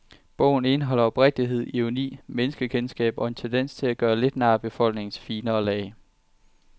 Bogen indeholder oprigtighed, ironi, menneskekendskab og en tendens til at gøre lidt nar af befolkningens finere lag.